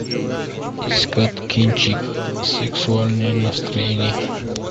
искать кинчик сексуальное настроение